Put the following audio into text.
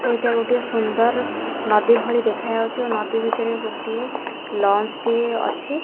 ଏଇଟା ଗୋଟେ ସୁନ୍ଦର ନଦୀ ଭଳି ଦେଖାଯାଉଚି ଓ ନଦୀ ଭିତରେ ଗୋଟିଏ ଲଞ୍ଚ ଟିଏ ଅଛି।